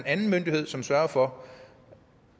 anden myndighed som sørger for